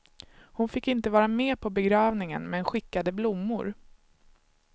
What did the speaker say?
Hon fick inte vara med på begravningen men skickade blommor.